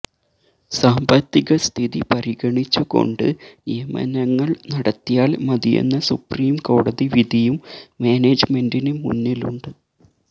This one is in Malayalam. സാമ്പത്തിക സ്ഥിതി പരിഗണിച്ചു കൊണ്ട് നിയമനങ്ങള് നടത്തിയാല് മതിയെന്ന സുപ്രിം കോടതി വിധിയും മാനേജ്മെന്റിന് മുന്നിലുണ്ട്